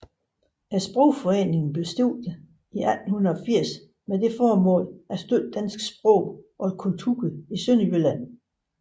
Sprogforeningen blev stiftet i 1880 med det formål at støtte dansk sprog og kultur i Sønderjylland